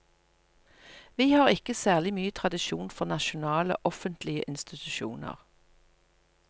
Vi har ikke særlig mye tradisjon for nasjonale, offentlige institusjoner.